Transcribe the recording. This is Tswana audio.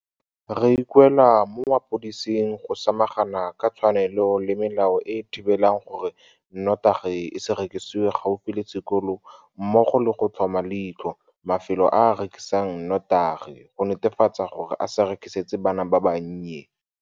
Re ikuela mo mapodising go samagana ka tshwanelo le melao e e thibelang gore notagi e se rekisiwe gaufi le sekolo mmogo le go tlhoma leitlho mafelo a a rekisang notagi go netefatsa gore a se e rekisetse bana ba bannye.